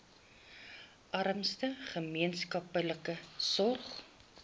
armste gemeenskappe sorg